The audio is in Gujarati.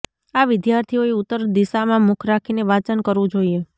આ વિદ્યાર્થીઓએ ઉત્તર દિશામાં મુખ રાખીને વાંચન કરવુ જોઇએ